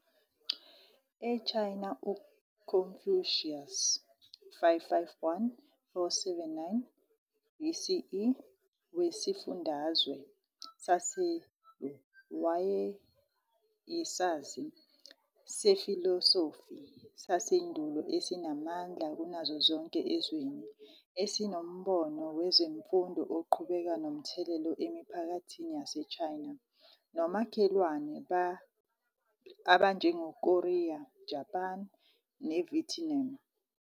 E-China, uConfucius, 551-479 BCE, weSifundazwe saseLu, wayeyisazi sefilosofi sasendulo esinamandla kunazo zonke ezweni, esinombono wezemfundo oqhubeka nomthelela emiphakathini yaseChina nomakhelwane abanjengoKorea, Japan, neVietnam.